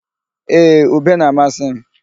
Ee, ube na-amasị m.